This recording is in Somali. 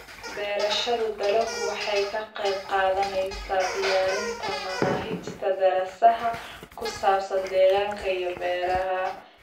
Beerashada dalaggu waxay ka qayb qaadanaysaa diyaarinta manaahijta daraasadaha ku saabsan deegaanka iyo beeraha.